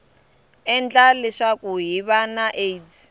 endla leswaku hiv na aids